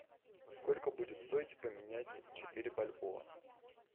сколько будет стоить поменять четыре бальбоа